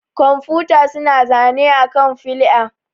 Kwamfuta suna zane akan flƴa.